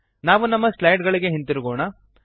ನಾವು ನಮ್ಮ ಸ್ಲೈಡ್ ಗಳಿಗೆ ಹಿಂದಿರುಗೋಣ